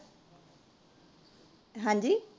ਹਾਂਜੀ